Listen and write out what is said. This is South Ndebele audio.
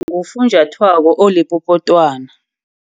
Ngofunjathwako olipopotwana.